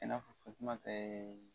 I n'a fɔ Fatumata ye